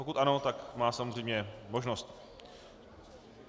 Pokud ano, tak má samozřejmě možnost.